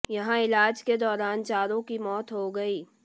यहां इलाज के दौरान चारों की मौत हो गयी